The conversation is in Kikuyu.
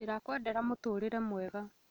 Ndĩrakũendera mũtũrĩre mwega